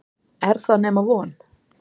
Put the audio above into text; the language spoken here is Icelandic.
Er það nema von?